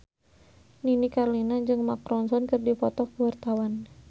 Nini Carlina jeung Mark Ronson keur dipoto ku wartawan